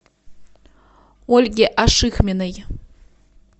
ольге ашихминой